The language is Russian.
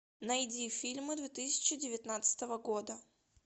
найди фильмы две тысячи девятнадцатого года